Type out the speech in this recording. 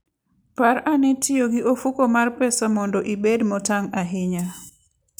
Par ane tiyo gi ofuko mar pesa mondo ibed motang' ahinya.